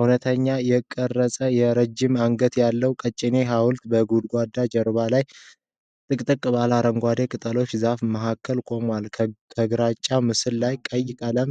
እውነተኛ የተቀረጸ የረጅም አንገት ያለው ቀጭኔ ሐውልት፣ በጉድጓድ ጀርባ ላይ ጥቅጥቅ ባሉ አረንጓዴ ቅጠሎችና ዛፎች መሃል ቆሟል፤ ከግራጫው ምሰሶ ላይ ቀይ ቀለም